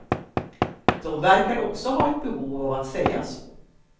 De verkar också ha ett behov av att säga så.